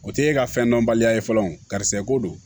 O tɛ e ka fɛn dɔnbaliya ye fɔlɔ o karisa e ko don